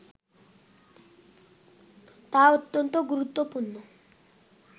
তা অত্যন্ত গুরুত্বপূর্ণ